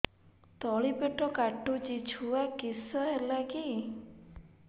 ତଳିପେଟ କାଟୁଚି ଛୁଆ କିଶ ହେଲା କି